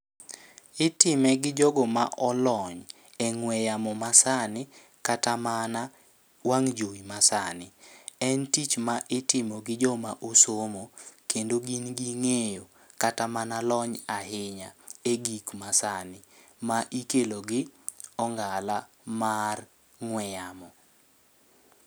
Itime gi jogo ma olony e ng'we yamo ma sani, kata mana wang' jowi ma sani. En tich ma itmo gi joma osomo, kendo gin ging'eyo kata mana lony ahinya e gik ma sani ma ikelo gi ongala mar ng'we yamo.